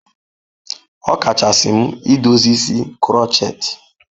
Ọkachasị m edozi isi crotchet.